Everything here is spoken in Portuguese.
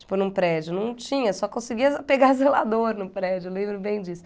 Tipo, num prédio, não tinha, só conseguia pegar zelador num prédio, eu lembro bem disso.